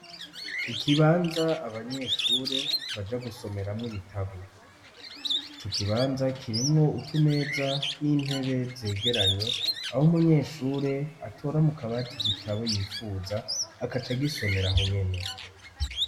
ikibanza abanyeshure baja gusomeramwo ibitabo ico kibanza kirimwo utumeza n'intebe zegeranye aho umunyeshure atora mukabati igitabo yifuza akacagisomera ho nyene